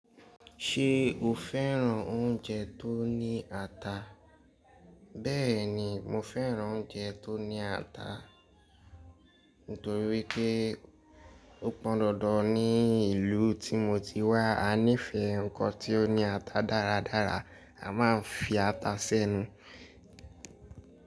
Ṣé o féràn oúnjẹ tó ní ata? Bẹ́ẹ̀ni, mo féràn oúnjẹ tó ní ata, nítorí wípé ó pọn dandan ní ìlú tí mo ti wá. A nífẹ̀ẹ́ nǹkan tí ó ní ata dáradára, a má a ń fi ata sẹ́nu.